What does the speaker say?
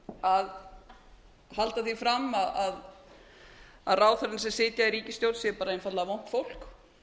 að halda því fram að ráðherrarnir sem sitja í ríkisstjórn séu bara einfaldlega vont fólk